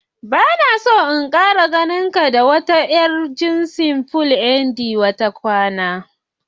Bana so in Kara ganinka da yar jinsin "Polyandry" kwata kwata.